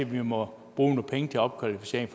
må sige jeg